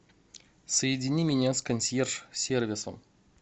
соедини меня с консьерж сервисом